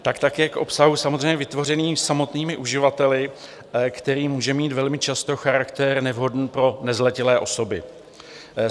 Tak také k obsahu, samozřejmě vytvořenému samotnými uživateli, který může mít velmi často charakter nevhodný pro nezletilé osoby.